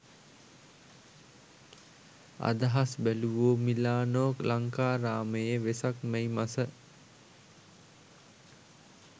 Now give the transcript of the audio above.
අදහස් බැලූවෝ මිලානෝ ලංකාරාමයේ වෙසක් මැයි මස